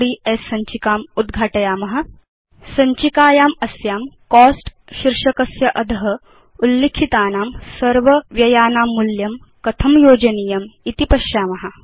अस्मत् personal finance trackerओड्स् सञ्चिकायां Cost शीर्षकस्य अध उल्लिखितानां सर्वव्ययानां मूल्यं कथं योजनीयम् इति पश्याम